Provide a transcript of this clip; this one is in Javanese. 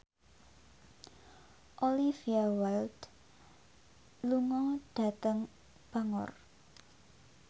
Olivia Wilde lunga dhateng Bangor